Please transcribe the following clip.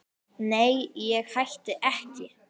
Nei, ég hætti ekki.